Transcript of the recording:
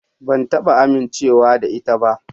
Ban taba amincewa da ita ba.